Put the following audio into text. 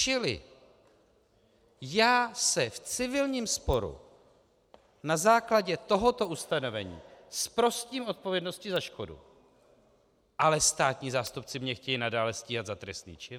Čili já se v civilním sporu na základě tohoto ustanovení zprostím odpovědnosti za škodu, ale státní zástupci mě chtějí nadále stíhat za trestný čin?